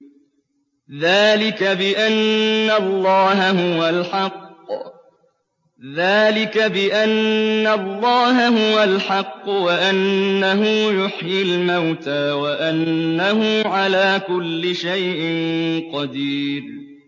ذَٰلِكَ بِأَنَّ اللَّهَ هُوَ الْحَقُّ وَأَنَّهُ يُحْيِي الْمَوْتَىٰ وَأَنَّهُ عَلَىٰ كُلِّ شَيْءٍ قَدِيرٌ